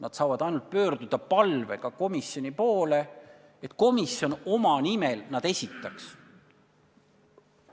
Nad saavad ainult palvega komisjoni poole pöörduda, et komisjon need enda nimel esitaks.